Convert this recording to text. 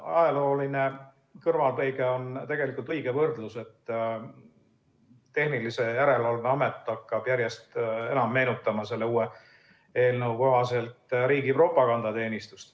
Ajalooline kõrvalepõige on tegelikult õige võrdlus, Tarbijakaitse ja Tehnilise Järelevalve Amet hakkab järjest enam meenutama selle uue eelnõu kohaselt riigi propagandateenistust.